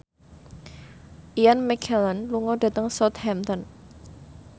Ian McKellen lunga dhateng Southampton